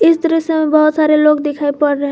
इस दृश्य मे बहुत सारे लोग दिखाई पड़ रहे हैं।